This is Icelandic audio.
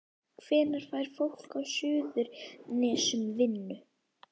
Hvenær fær fólk á Suðurnesjum vinnu?